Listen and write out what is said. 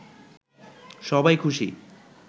সবাই খুশি